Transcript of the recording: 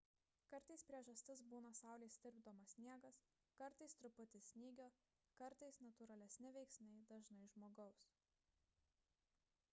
kartais priežastis būna saulės tirpdomas sniegas kartais truputis snygio kartais natūralesni veiksniai dažnai žmogus